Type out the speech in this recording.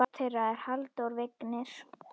Barn þeirra er Halldór Vignir.